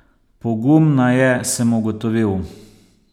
Pogumna je, sem ugotovil.